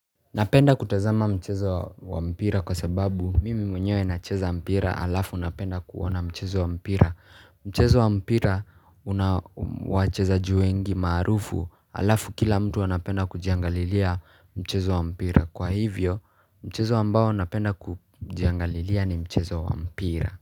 Napenda kutazama mchezo wa mpira kwa sababu mimi mwenye na cheza mpira halafu napenda kuona mchezo wa mpira Mchezo wa mpira unawachezaji wengi maarufu halafu kila mtu anapenda kujiangalilia mchezo wa mpira Kwa hivyo mchezo ambao napenda kujiangalilia ni mchezo wa mpira.